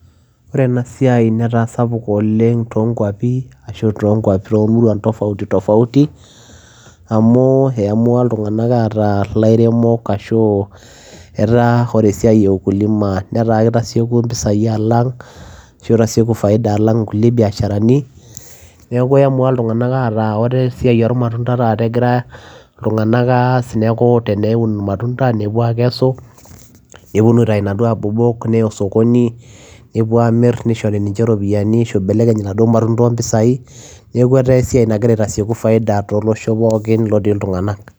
Ore ena siai netaa sapuk oooleng too kuapi ashu too kuap ashu too muruan tofauti tofauti amu eyamua iltungana ataa ilairemok ashu etaa ore esiai e ukulima netaa kiasieki pisai alang ashu itasieki faida alang kulie biasharani, neaku eamua iltungana laa esiai ormatunda taata egira iltungana aas neku ore esiai ormatunda nepuo aakesu nepuo taa abob neya osikoni nepuo aamir neishori ninche ropiyiani ashu eibelekeny laduo matunda opisai neaku etaa esiai nagira aitasieku faida to losho pooki lotii iltungana.